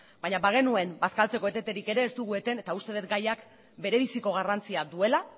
baina bagenuen bazkaltzeko eteterik ere ez dugu eten eta uste dugu gaiak berebiziko garrantzia duela